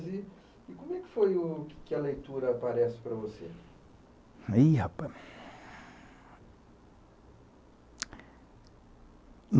Olha, falando então de brincadeiras, e como é que foi que a leitura aparece para você? Ih rapaz...